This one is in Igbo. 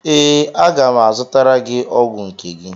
Ee, aga m azụtara gị ọgwụ nke gị